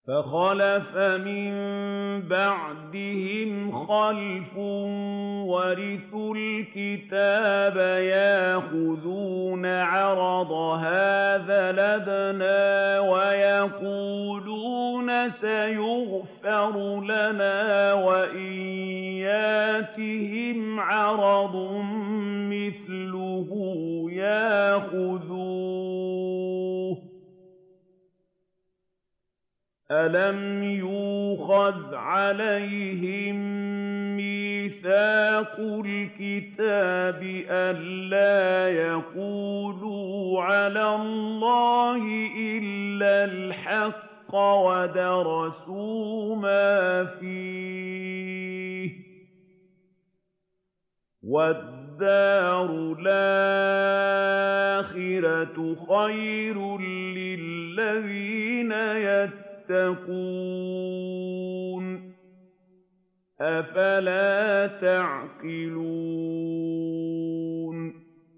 فَخَلَفَ مِن بَعْدِهِمْ خَلْفٌ وَرِثُوا الْكِتَابَ يَأْخُذُونَ عَرَضَ هَٰذَا الْأَدْنَىٰ وَيَقُولُونَ سَيُغْفَرُ لَنَا وَإِن يَأْتِهِمْ عَرَضٌ مِّثْلُهُ يَأْخُذُوهُ ۚ أَلَمْ يُؤْخَذْ عَلَيْهِم مِّيثَاقُ الْكِتَابِ أَن لَّا يَقُولُوا عَلَى اللَّهِ إِلَّا الْحَقَّ وَدَرَسُوا مَا فِيهِ ۗ وَالدَّارُ الْآخِرَةُ خَيْرٌ لِّلَّذِينَ يَتَّقُونَ ۗ أَفَلَا تَعْقِلُونَ